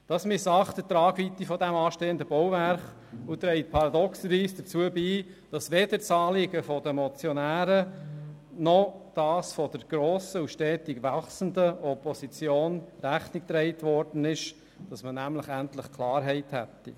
Damit wird die Tragweite dieses anstehenden Bauwerks missachtet, und dies trägt paradoxerweise dazu bei, dass weder dem Anliegen der Motionäre noch dem der grossen und stetig wachsenden Opposition Rechnung getragen wird, nämlich so, dass man endlich Klarheit hätte.